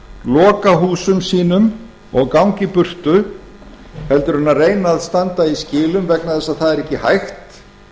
loka húsum sínum og ganga í burtu en að reyna að standa í skilum vegna þess að það er ekki hægt